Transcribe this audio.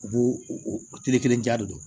U b'o tile kelen diya de